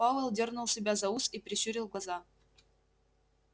пауэлл дёрнул себя за ус и прищурил глаза